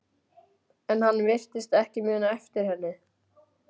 En hann virtist ekki muna eftir henni.